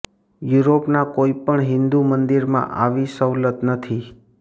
યુરોપના કોઈ પણ હિંદુ મંદિરમાં આવી સવલત નથી